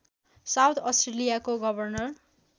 south अस्ट्रेलियाको governor